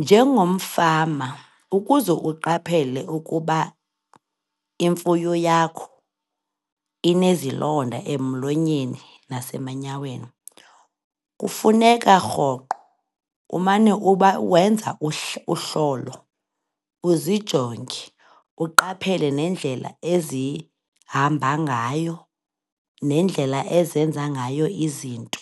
Njengomfama, ukuze uqaphele ukuba imfuyo yakho inezilonda emlonyeni nasemanyaweni, kufuneka rhoqo umane wenza uhlolo, uzijonge, uqaphele nendlela ezihamba ngayo, nendlela ezenza ngayo izinto.